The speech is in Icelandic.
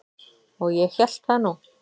Og ég hélt það nú.